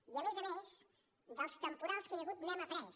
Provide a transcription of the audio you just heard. i a més a més dels temporals que hi ha hagut n’hem après